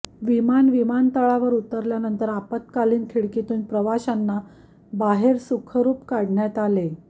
विमान विमानतळावर उतरल्यानंतर आपत्कालीन खिडकीतून प्रवासांना बाहेर सुखरुप बाहेर काढण्यात आले